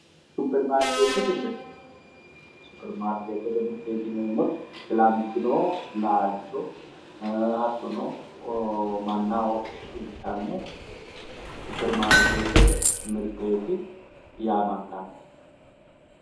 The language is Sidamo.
supperimarkeettete mirte supperimarkeettete mirteeti yineemmoti filantino laalcho hattono mannaho shiqinshanni supperimarkeettete mirteeti yinanni